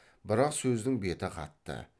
бірақ сөздің беті қатты